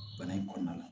Bana in kɔnɔna na